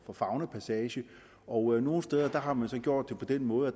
for faunapassage og nogle steder har man gjort det på den måde at